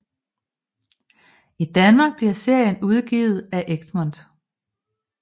I Danmark bliver serien udgivet af Egmont